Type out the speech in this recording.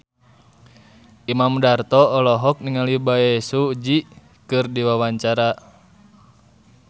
Imam Darto olohok ningali Bae Su Ji keur diwawancara